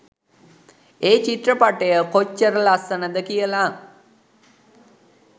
ඒ චිත්‍රපටය කොච්චර ලස්සනද කියල.